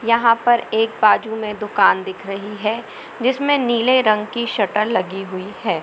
यहाँ पर एक बाजू में दुकान दिख रही है जिसमें नीले रंग की शटर लगी हुई है।